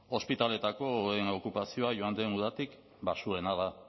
ospitaleetako oheen okupazioa joan den udatik baxuena da